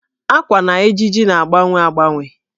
Ákwà na ejiji na-agbanwe agbanwe.